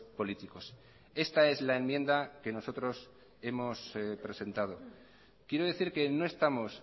políticos esta es la enmienda que nosotros hemos presentado quiero decir que no estamos